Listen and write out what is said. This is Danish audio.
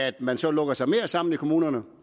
at man så lukker sig mere sammen i kommunerne